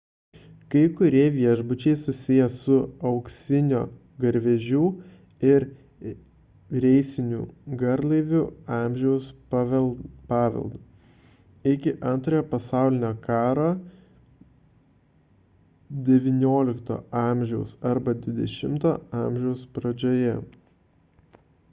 kai kurie viešbučiai susiję su auksinio garvežių ir reisinių garlaivių amžiaus paveldu iki antrojo pasaulinio karo xix a arba xx a pradžioje